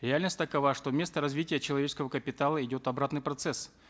реальность такова что вместо развития человеческого капитала идет обратный процесс